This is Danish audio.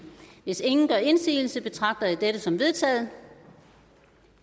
hvis ingen gør indsigelse betragter jeg dette som vedtaget